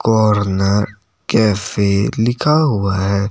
Corner cafe लिखा हुआ है।